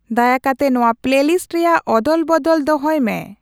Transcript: ᱫᱟᱭᱟ ᱠᱟᱛᱮ ᱱᱚᱶᱟ ᱯᱞᱮᱞᱤᱥᱴ ᱨᱮᱭᱟᱜ ᱚᱫᱚᱞᱵᱚᱫᱚᱞ ᱫᱚᱦᱚᱭ ᱢᱮ